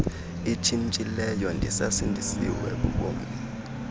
itshintshileyo ndisasindisiwe bubomi